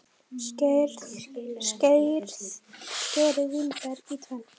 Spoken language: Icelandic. Skerið vínber í tvennt.